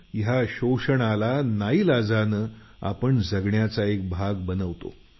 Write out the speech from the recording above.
या शोषणाचा नाईलाजाने आपण एक भाग बनतो